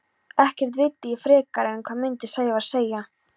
Ekkert vildi ég frekar en hvað myndi Sævar segja?